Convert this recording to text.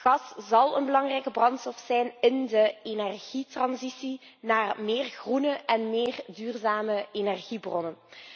Gas zal een belangrijke brandstof zijn in de energietransitie naar meer groene en meer duurzame energiebronnen.